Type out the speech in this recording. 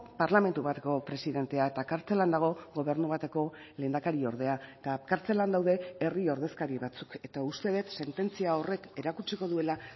parlamentu bateko presidentea eta kartzelan dago gobernu bateko lehendakari ordea eta kartzelan daude herri ordezkari batzuk eta uste dut sententzia horrek erakutsiko duela